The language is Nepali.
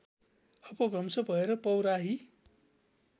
अपभ्रंश भएर पौराही